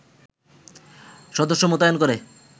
সদস্য মোতায়েন করে